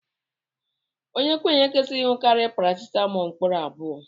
Okenye ekwesighi inukari paracetamóólú mkpụrụ abụọ.